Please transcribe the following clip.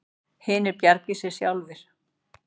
Hinir bjargi sér sjálfir.